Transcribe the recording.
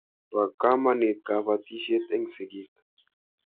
Po kamonit kapatisyet eng' sigik.